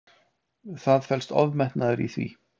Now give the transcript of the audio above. Það felst ofmetnaður í því.